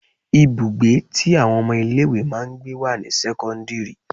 Ibùgbé tí àwọn ọmọ ilé ìwé máa ń gbé wà ní sẹ́kọ́ńdírì.